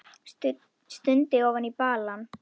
Stundi ofan í balann.